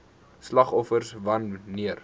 slagoffers wan neer